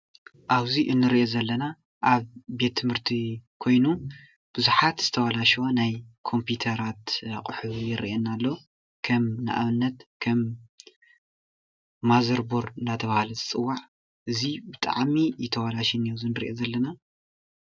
አብ እዚ እንሪኦ ዘሎ ኣብ ቤት ትምህርቲ ኮይኑ ቡዙሓት ዝተባላሸወ ናይ ኮምፒተራት ኣቁሑ ይረአየና ኣሎ፡፡ ከም ንአብነት ከም ማዘር ቦርድ እንዳተባሃለ ዝፅዋዕ እዚ ብጣዕሚ እዩ ተባላሽዩ ዝንአ ንሪኦ ዘለና፡፡